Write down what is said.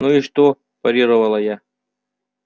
ну и что парировала я